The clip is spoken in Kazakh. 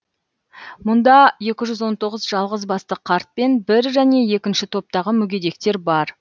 мұнда екі жүз он тоғыз жалғыз басты қарт пен бір және екінші топтағы мүгедектер бар